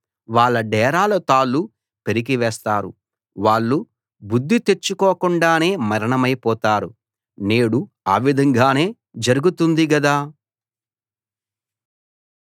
వాళ్ళ డేరాల తాళ్ళు పెరికివేస్తారు వాళ్ళు బుద్ధి తెచ్చుకోకుండానే మరణమైపోతారు నేడు ఆ విధంగానే జరుగుతుంది గదా